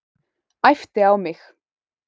Æpti á mig.